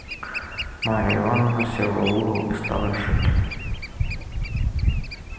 марья ивановна села в угол и стала шить